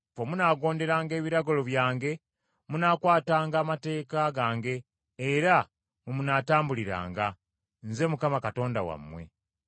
Munaagonderanga ebiragiro byange, munaakwatanga amateeka gange, era mwe munaatambuliranga. Nze Mukama Katonda wammwe.